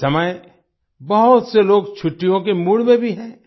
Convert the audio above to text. इस समय बहुत से लोग छुट्टियों के मूड में भी हैं